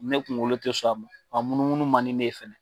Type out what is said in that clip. Ne kunkolo tɛ sɔn a ma a munu munu man di ne ye fɛnɛ.